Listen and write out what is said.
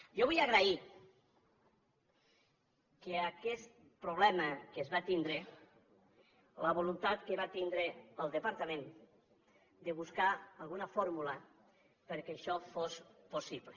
jo vull agrair que aquest problema que es va tindre la voluntat que va tindre el departament de buscar alguna fórmula perquè això fos possible